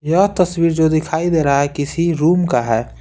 यह तस्वीर जो दिखाई दे रहा है किसी रूम का है।